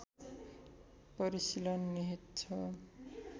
परिशीलन निहित छ